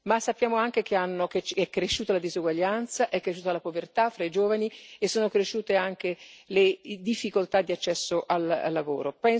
Ma sappiamo anche che è cresciuta la disuguaglianza, è cresciuta la povertà fra i giovani e sono cresciute anche le difficoltà di accesso al lavoro.